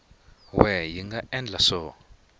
we hi nga endla swo